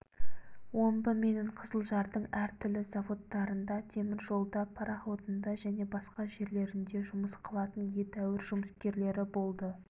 омбы менен қызылжардың әр түрлі заводтарында темір жолда пароходында және басқа жерлерінде жұмыс қылатын едәуір жұмыскерлері болды